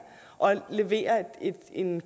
og levere en